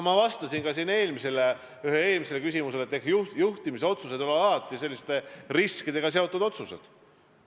Ma ütlesin ka ühele eelmisele küsimusele vastates, et juhtimisotsused on alati riskidega seotud otsused.